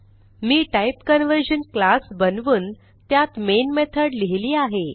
मी type conversion class बनवून त्यात main method लिहिली आहे